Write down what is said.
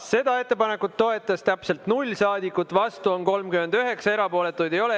Seda ettepanekut toetas täpselt 0 saadikut, vastu on 39, erapooletuid ei ole.